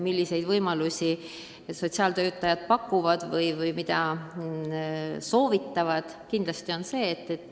Milliseid võimalusi sotsiaaltöötajad pakuvad või mida soovitavad?